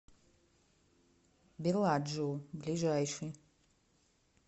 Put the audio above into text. белладжио ближайший